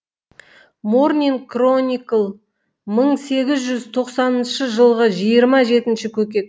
морнинг кроникл мың сегіз жүз тоқсаныншы жылғы жиырма жетінші көкек